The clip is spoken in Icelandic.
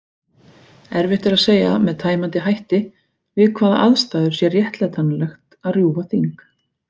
Erfitt er að segja með tæmandi hætti við hvaða aðstæður sé réttlætanlegt að rjúfa þing.